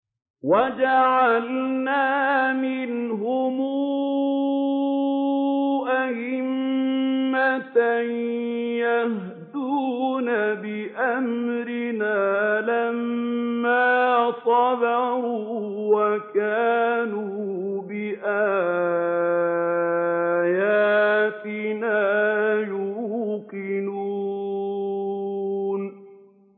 وَجَعَلْنَا مِنْهُمْ أَئِمَّةً يَهْدُونَ بِأَمْرِنَا لَمَّا صَبَرُوا ۖ وَكَانُوا بِآيَاتِنَا يُوقِنُونَ